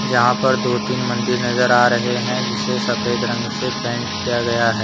यहां पर दो तीन मंदिर नजर आ रहे हैं जिसे सफेद रंग से पेंट किया गया है।